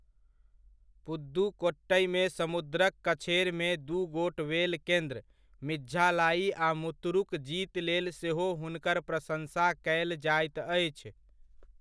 पुदुकोट्टइमे समुद्रक कछेरमे दू गोट वेल केन्द्र, मिझालाइ आ मुत्तुरुक जीत लेल सेहो हुनकर प्रशंसा कयल जाइत अछि।